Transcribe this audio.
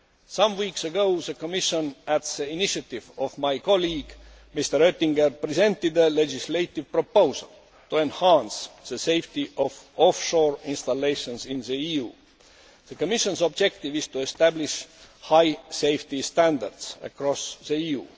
States. Some weeks ago, the Commission, at the initiative of my colleague, Mr Oettinger, presented a legislative proposal to enhance the safety of offshore installations in the EU. The Commission's objective is to establish high safety standards across